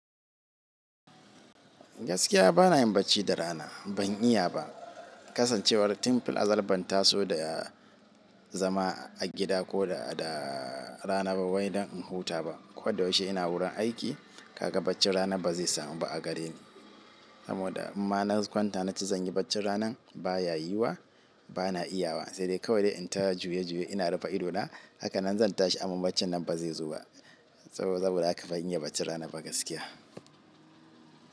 Gaskiya bana yin bacci da rana, ban iya ba. Kasan cewar tin fil azal ban taso da zama a gida ko da rana ba wai dan in huta ko da yaushe ina wurin aiki, kaga bacci rana ba zai samu ba a gareni. Saboda in ma na kwanta na ce zanyi bacci ranan baya yiwa, bana iyawa. Sai dai kawai in ta juye juye ina rufe idona. Haka nan zan tashi amma bacci nan ba zai zo ba. Saboda haka ban iya baccin rana ba gaskiya.